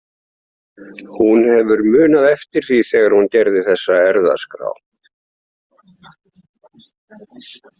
Hún hefur munað eftir því þegar hún gerði þessa erfðaskrá.